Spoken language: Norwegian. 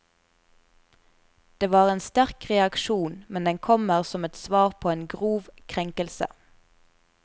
Det er en sterk reaksjon, men den kommer som et svar på en grov krenkelse.